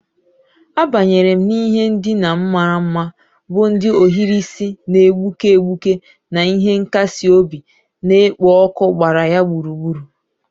Abanyere m n'ihe ndina m mara mma, bụ́ ndị ohiri isi na-egbuke egbuke na ihe nkasi obi na-ekpo ọkụ gbara ya gburugburu.